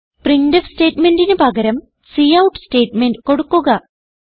printf സ്റ്റേറ്റ്മെന്റിന് പകരം cout statement കൊടുക്കുക